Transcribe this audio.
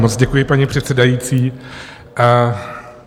Moc děkuji, paní předsedající.